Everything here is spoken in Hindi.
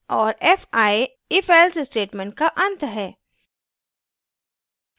और fi ifelse statement का and है